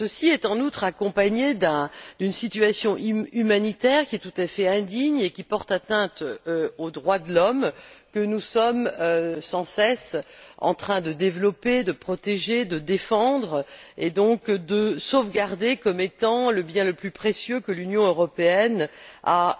phénomène s'accompagne en outre d'une situation humanitaire tout à fait indigne et qui porte atteinte aux droits de l'homme que nous sommes sans cesse en train de développer, de protéger, de défendre et de sauvegarder comme étant le bien le plus précieux que l'Union européenne ait